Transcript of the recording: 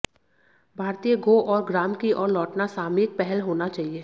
भारतीय गो और ग्राम की ओर लौटना सामयिक पहल होना चाहिए